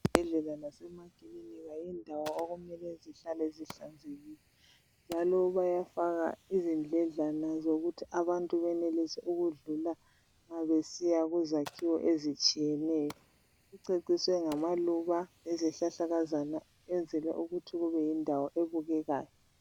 Ezibhedlela lasemakilinika yindawo okumele zihlale zihlanzekile, njalo bayafaka izindledlana zokuthi abantu benelise ukudlula nxa besiya kuzakhiwo ezitshiyeneyo, kuceciswe ngamaluba lezihlahlakazana ukwenzela ukuthi kube yindawo ebukekayo.